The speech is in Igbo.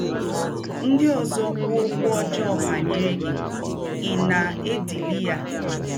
Ndị ọzọ kwụọ ọkwụ ọjọọ banyere gị, ị̀ na - edili ya?